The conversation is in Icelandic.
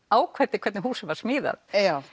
ákveddi hvernig húsið var smíðað